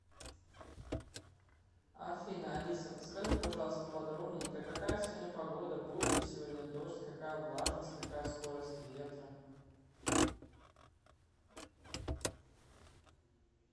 афина алиса подскажи пожалуйста подробненько какая сегодня погода будет ли сегодня дождь какая влажность какая скорость ветра